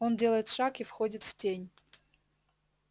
он делает шаг и входит в тень